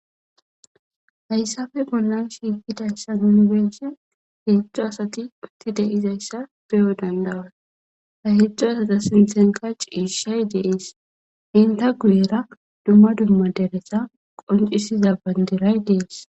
Hayssappe bollan shiiqidaysan nu be'izay,heedzu asati utti dizaysa beyo danda'os. Ha heedzu asata sinthanka ciishay de'ees. Enta guyera dumma dumma dereta qoncisiza bandiray dees.